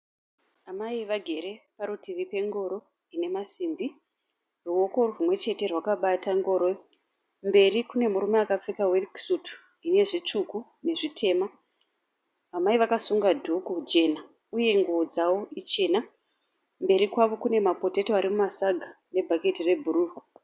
Amai vagere parutivi pengoro ine masimbi, ruoko rumwe chete rwakabata ngoro. Mberi kune murume akapfeka weki sutu ine zvitsuku nezvitema. Amai vakasunga dhuku jena uye nguwo dzawo ichena, mberi kwavo kune mapoteto ari mumasaga nebhaketi rebhuruu.